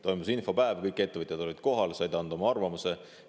Toimus infopäev, kõik ettevõtjad olid kohal ja said anda oma arvamuse.